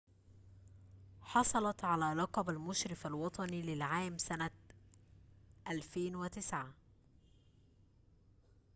حصلت على لقب المشرف الوطني للعام سنة 2009